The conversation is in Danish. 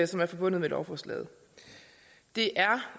som er forbundet med lovforslaget det